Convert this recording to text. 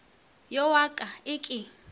yo wa ka e ke